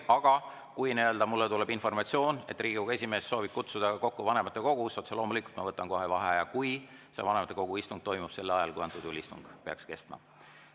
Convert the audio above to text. Aga kui mulle tuleb informatsioon, et Riigikogu esimees soovib kutsuda kokku vanematekogu, siis otse loomulikult ma võtan kohe vaheaja, kui vanematekogu istung toimub sel ajal, kui istung peaks kestma.